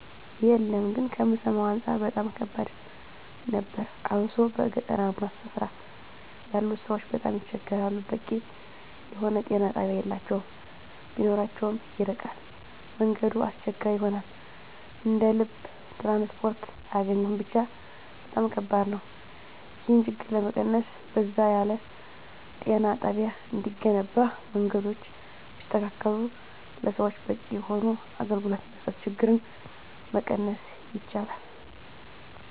የለም ግን ከምሰማዉ አንፃር በጣም ከባድ ነበር አብሶ በገጠራማ ስፍራ ያሉት ሰዎች በጣም ይቸገራሉ በቂ የሆነ ጤና ጣቢያ የላቸዉም ቢኖራቸዉም ይርቃል መንገዱ አስቸጋሪ ይሆናል እንደ ልብ ትራንስፖርት አያገኙም ብቻ በጣም ከባድ ነዉ ይህን ችግር ለመቀነስ በዛ ያለ ጤና ጣቢያ እንዲገነባ መንገዶች ቢስተካከሉ ለሰዎች በቂ የሆነ አገልግሎት መስጠት ችግርን መቀነስ ይቻላል